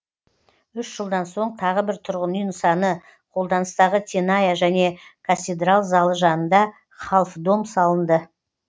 үш жылдан соң тағы бір тұрғын үй нысаны қолданыстағы теная және касидрал залы жанында халф дом салынды